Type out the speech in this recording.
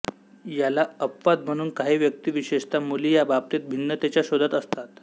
याला अपवाद म्हणून काही व्यक्ती विशेषतः मुली या बाबतीत भिन्नतेच्या शोधात असतात